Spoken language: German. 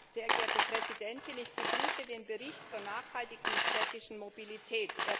Frau Präsidentin! Ich begrüße den Bericht zur nachhaltigen städtischen Mobilität.